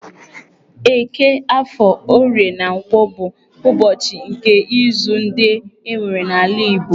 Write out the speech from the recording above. Eke, Afọ, Orie, na Nkwọ bụ ụbọchị nke izu ndị e nwere n'ala Igbo.